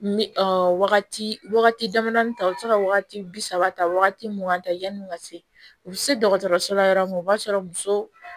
Ɔ wagati damadɔnin ta o bɛ se ka wagati bi saba ta wagati mun ŋan ta n'u ka se u bi se dɔgɔtɔrɔso la yɔrɔ min o b'a sɔrɔ muso